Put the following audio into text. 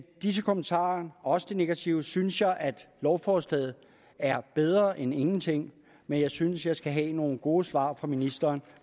disse kommentarer også de negative synes jeg at lovforslaget er bedre end ingenting men jeg synes jeg skal have nogle gode svar fra ministeren